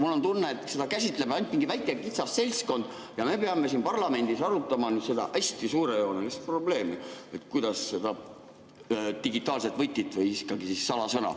Mul on tunne, et seda käsitleb ainult mingi väike kitsas seltskond ja meie peame siin parlamendis arutama seda hästi suurejoonelist probleemi, kas digitaalne võti või ikkagi salasõna.